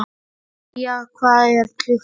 Bría, hvað er klukkan?